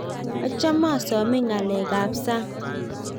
achame asomonii kaleek ab sang